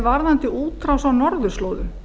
varðandi útrás á norðurslóðum